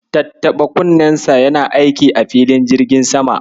Tattaɓa kunnensa yana aiki a filin jirgin sama.